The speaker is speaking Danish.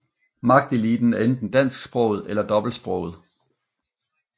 Magteliten er enten dansksproget eller dobbeltsproget